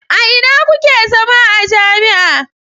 A ina kuke zama a jami'a?